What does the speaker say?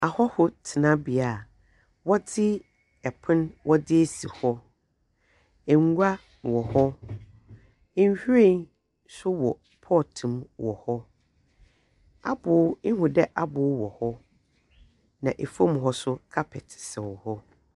Ahɔho tsenabea wɔdze ɛpon wɔdze esii hɔ ngua wɔ hɔ nhwiren so wɔ pɔt mu wɔ hɔ ehu dɛ aboo wɔ hɔ na efom hɔ so kapɛt sɛw hɔ.